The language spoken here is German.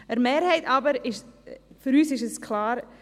Der Mehrheit aber ist es klar: